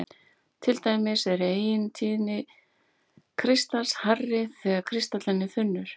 Til dæmis er eigintíðni kristals hærri þegar kristallinn er þunnur.